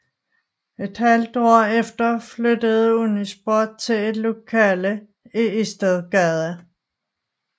Et halvt år efter flyttede Unisport til et lokale på Istedgade